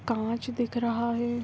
काँच दिख रहा है यहाँ ।